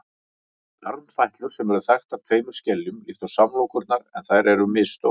armfætlur eru þaktar tveimur skeljum líkt og samlokurnar en þær eru misstórar